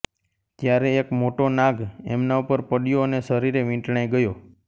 ત્યારે એક મોટો નાગ એમના ઉપર પડયો અને શરીરે વીંટળાઇ ગયો